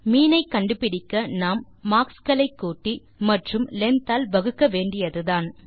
மீன் ஐ கண்டுபிடிக்க நாம் மார்க்ஸ் களை கூட்டி மற்றும் லெங்த் ஆல் வகுக்க வேண்டியதுதான்